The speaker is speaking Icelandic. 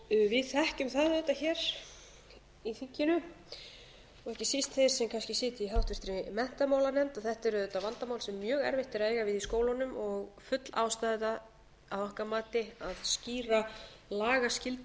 þekkjum það auðvitað hér í þinginu og ekki síst þeir sem kannski sitja í háttvirtri menntamálanefnd að þetta er auðvitað vandamál sem drög erfitt er að eiga við í skólunum og full ástæða að okkar mati að skýra lagaskyldu